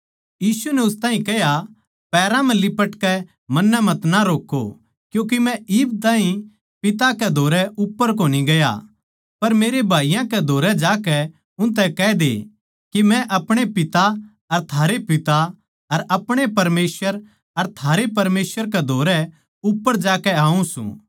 यीशु नै उस ताहीं कह्या पैरां म्ह लिपटकै मन्नै मतना रोक्कों क्यूँके मै इब ताहीं पिता कै धोरै उप्पर कोनी गया पर मेरे भाईयाँ कै धोरै जाकै उनतै कह दे के मै अपणे पिता अर थारे पिता अर अपणे परमेसवर अर थारे परमेसवर कै धोरै उप्पर जाकै आऊँ सूं